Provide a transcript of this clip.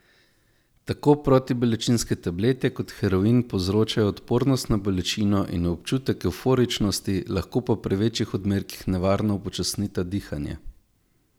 Tako protibolečinske tablete kot heroin povzročajo odpornost na bolečino in občutek evforičnosti, lahko pa pri večjih odmerkih nevarno upočasnita dihanje.